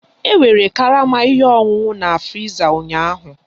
E nwere karama ihe ọṅụṅụ oroma na friza ụnyaahụ